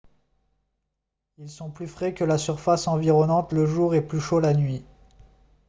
« ils sont plus frais que la surface environnante le jour et plus chauds la nuit »